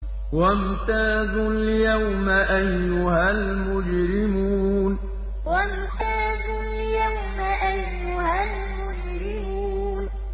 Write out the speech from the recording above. وَامْتَازُوا الْيَوْمَ أَيُّهَا الْمُجْرِمُونَ وَامْتَازُوا الْيَوْمَ أَيُّهَا الْمُجْرِمُونَ